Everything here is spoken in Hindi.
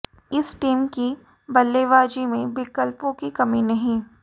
इस टीम की बल्लेबाज़ी में विकल्पों की कमी नहीं